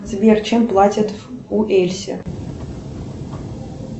сбер чем платят в уэльсе